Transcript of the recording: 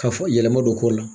Ka fɔ yɛlɛma don ko la.